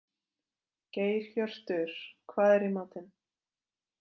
Geirhjörtur, hvað er í matinn?